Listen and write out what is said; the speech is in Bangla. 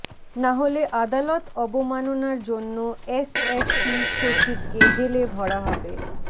নাহলে আদালত অবমাননার জন্য এসএসসি সচিবকে জেলে ভরা হবে